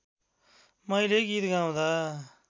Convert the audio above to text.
मैले गीत गाउँदा